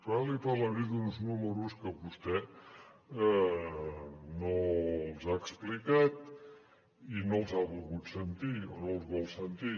ara li parlaré d’uns números que vostè no els ha explicat i no els ha volgut sentir o no els vol sentir